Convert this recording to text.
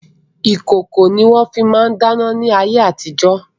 Ìkòkò ni wọ́n fi máa ń dáná ní ayé àtijo.